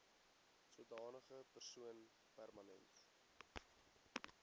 sodanige persoon permanent